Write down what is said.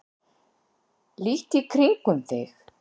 Líttu í kringum þig.